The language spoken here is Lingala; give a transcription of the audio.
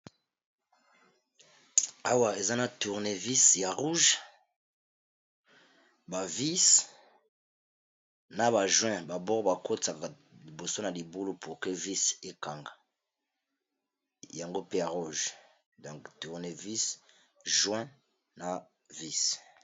Awa eza na tournévise ya rouge, ba vise, na ba join ba bord ba kotisaka liboso na libulu pour que vise ekanga. Yango pe ya rouge donc tournevise, join na vise.